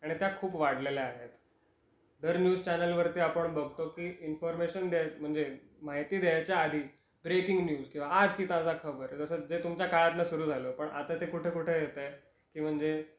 आणि त्या खूप वाढलेल्या आहेत. दर न्यूज चॅनेल वरती आपण बघतो की इन्फॉरमेशन द्या म्हणजे माहिती द्यायच्या आधी ब्रेकिंग न्यूज किंवा आज की ताज़ा खबर जस जे तुमच्या काळातन सुरू झाल पण आता ते कुठे कुठे येत आहे कि म्हणजे